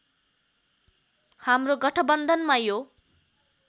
हाम्रो गठबन्धनमा यो